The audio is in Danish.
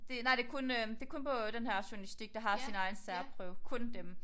Det nej det kun øh det kun på denne her journalistik der har sin egen særprøve kun dem